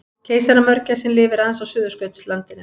Keisaramörgæsin lifir aðeins á Suðurskautslandinu.